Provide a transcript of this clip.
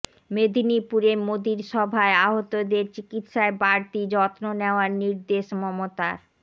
মেদিনীপুরে মোদির সভায় আহতদের চিকিৎসায় বাড়তি যত্ন নেওয়ার নির্দেশ মমতার